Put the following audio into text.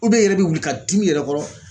i yɛrɛ bɛ wuli ka dim'i yɛrɛ kɔrɔ .